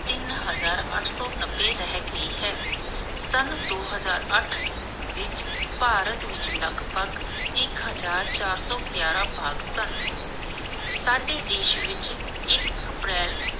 ਤਿਨ ਹਜਾਰ ਅੱਠ ਸੌ ਨੱਬੇ ਰਹਿ ਗਈ ਹੈ. ਸਨ ਦੋ ਹਜਾਰ ਅੱਠ ਵਿਚ ਭਾਰਤ ਵਿਚ ਲਗਭਗ ਇਕ ਹਜ਼ਾਰ ਚਾਰ ਸੌ ਗਿਆਰਹ ਬਾਘ ਸਨ. ਸਾਡੇ ਦੇਸ਼ ਵਿਚ ਇਕ ਅਪ੍ਰੈਲ